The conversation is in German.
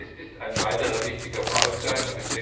Es ist ein weiterer wichtiger Baustein.